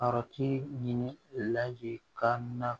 Araki ɲini ka na